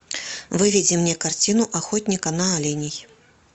выведи мне картину охотника на оленей